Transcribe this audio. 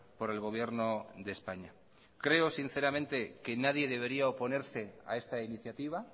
por el gobierno de españa creo sinceramente que nadie debería oponerse a esta iniciativa